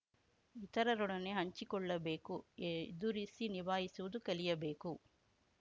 ಇತರರೊಡನೆ ಹಂಚಿಕೊಳ್ಳಬೇಕು ಎದುರಿಸಿ ನಿಭಾಯಿಸುವುದು ಕಲಿಯಬೇಕು